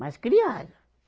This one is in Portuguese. Mas criaram.